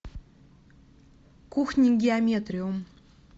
кухни геометриум